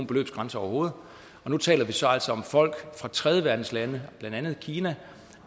beløbsgrænse overhovedet og nu taler vi så om folk fra tredjeverdenslande blandt andet kina